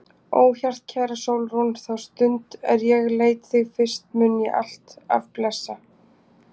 Ó hjartkæra Sólrún, þá stund er ég leit þig fyrst mun ég alt af blessa.